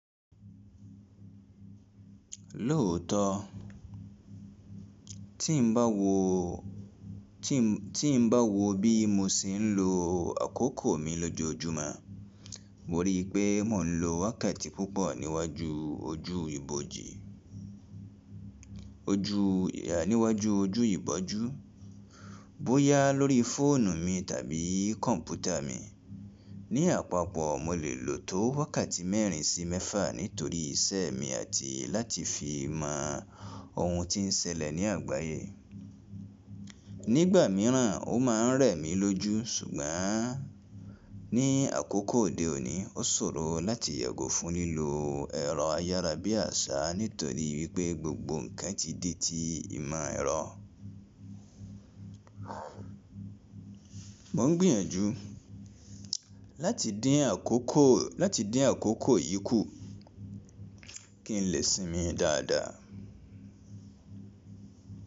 Lóòótọ́ tí n bá wo, tí n bá wo bí mo ṣe ń lo àkókò mi lójoójúmọ́ mo rí pé mò ń lo wákàtí púpọ̀ níwájú ojú, níwájú ojú ìbójú, bóyá lórí fóònù mi tàbí kọ̀mpútà mi. Ní àpapọ̀ mo lè lò ó tó wákàtí mẹ́rin sí mẹ́fà nítorí iṣẹ́ mi àti láti fi mọ ohun tí n ṣẹlẹ̀ ní àgbáyé. Nígbà míràn ó ma ń rẹ̀ mí lójú ṣùgbọ́n ní àkókò òde òní ó ṣòro láti yẹgo fún lílo ẹ̀rọ ayára bí àṣá nítorí wípé gbogbo ǹkan ti dí tí ìmọ̀ ẹ̀rọ. Mo ń gbìyànjú láti dín àkókò yìí kù kí n lè sinmi dáadáa.